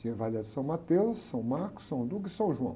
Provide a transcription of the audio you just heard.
Tinha São Mateus, São Marcos, São Lucas e São João.